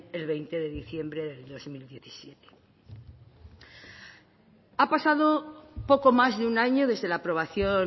el veinte de diciembre de dos mil diecisiete ha pasado poco más de un año desde la aprobación